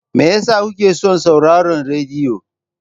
Me yasa kuke son sauraron rediyo?